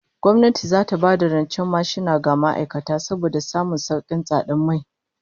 Gwamnati zata ba da rancen mashina ga ma'aikata saboda samun saukin tsadar mai